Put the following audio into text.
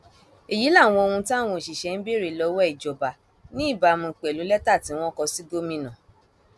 èyí làwọn ohun táwọn òṣìṣẹ ń béèrè lọwọ ìjọba ní ìbámu pẹlú lẹtà tí wọn kò sì gomina